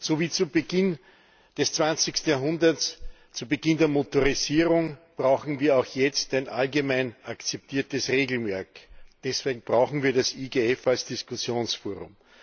So wie zu Beginn des 20. Jahrhunderts, zu Beginn der Motorisierung, brauchen wir auch jetzt ein allgemein akzeptiertes Regelwerk. Deswegen brauchen wir das IGF als Diskussionsforum.